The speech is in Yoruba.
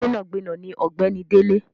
Gbẹnagbẹna ni ọ̀gbẹ́ni Dele.